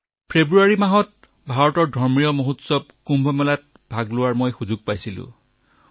মই ফেব্ৰুৱাৰীত ভাৰতলৈ কুম্ভ মেলা পৰিদৰ্শনৰ বাবে আহিছিলো